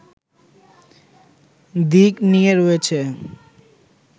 দিক নিয়ে রয়েছে